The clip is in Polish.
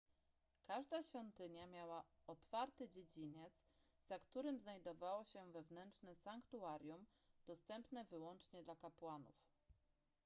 każda świątynia miała otwarty dziedziniec za którym znajdowało się wewnętrzne sanktuarium dostępne wyłącznie dla kapłanów